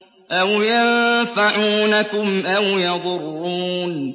أَوْ يَنفَعُونَكُمْ أَوْ يَضُرُّونَ